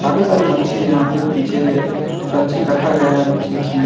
काफी सारे मच्छी हैं यहां पे पीछे हर चीज रखा गया है मच्छी उस--